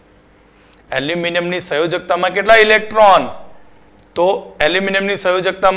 aluminium ની સંયોજકતા માં કેટલા Electron? તો aluminium ની સંયોજક્તા